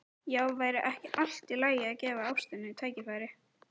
Já, væri ekki allt í lagi að gefa ástinni tækifæri?